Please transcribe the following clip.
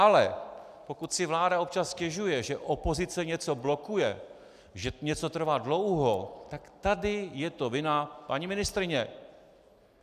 Ale pokud si vláda občas stěžuje, že opozice něco blokuje, že něco trvá dlouho, tak tady je to vina paní ministryně.